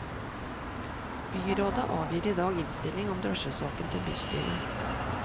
Byrådet avgir i dag innstilling om drosjesaken til bystyret.